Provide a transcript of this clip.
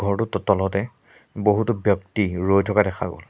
ঘৰটো ত তলতে বহুতো ব্যক্তি ৰৈ থকা দেখা গ'ল।